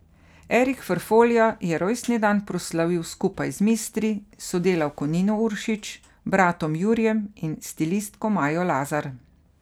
Erik Ferfolja je rojstni dan proslavil skupaj z mistri, sodelavko Nino Uršič, bratom Jurijem in stilistko Majo Lazar.